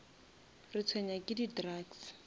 retshwenya ke di drugs